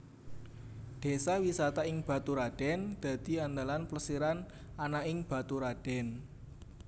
Désa wisata ing Baturadèn dadi andalan plesiran ana ing Baturadèn